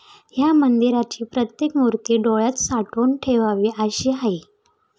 या मंदिराची प्रत्येक मुर्ती डोळ्यात साठवून ठेवावी अशी आहे.